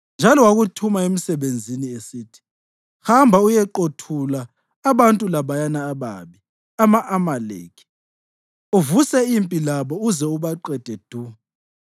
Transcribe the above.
Njalo wakuthuma emsebenzini, esithi, ‘Hamba uyeqothula abantu labayana ababi, ama-Amaleki, uvuse impi labo uze ubaqede du.’